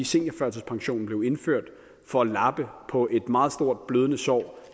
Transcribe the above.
seniorførtidspensionen blev indført for at lappe på et meget stort blødende sår